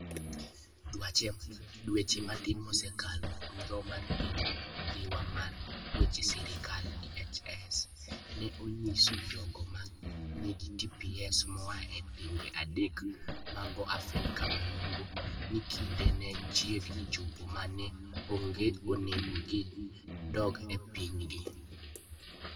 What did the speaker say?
Dweche matin mosekalo, Migawo mar Piny Dhiwa mar Weche Sirkal (DHS) ne onyiso jogo ma nigi TPS moa e pinje adek mag Afrika ma Yimbo, ni kinde ne chiegni chopo ma ne onego gidog e pinygi.